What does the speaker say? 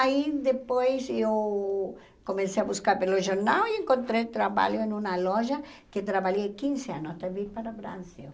Aí depois eu comecei a buscar pelo jornal e encontrei trabalho em uma loja que eu trabalhei quinze anos, também para o Brasil.